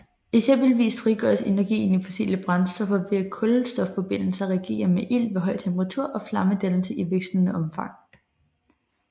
Eksempelvis frigøres energien i fossile brændstoffer ved at kulstofforbindelser reagerer med ilt ved høj temperatur og flammedannelse i vekslende omfang